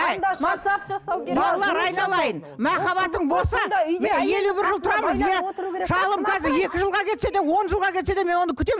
шалым қазір екі жылға кетсе де он жылға кетсе де мен оны күтемін